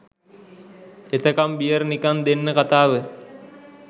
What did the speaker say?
එතකම් beer නිකන් දෙන්න කතාව